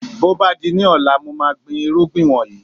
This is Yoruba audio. Bí ó bá di ní ọ̀la, mo máa gbin irúgbìn wọ̀nyí